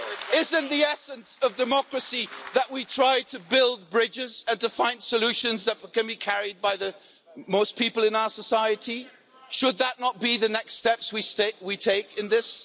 Isn't the essence of democracy that we try to build bridges and to find solutions that can be carried by most people in our society? Should those not be the next steps we take in this?